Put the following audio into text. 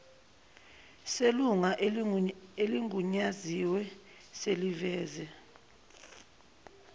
selunga eligunyaziwe seliveze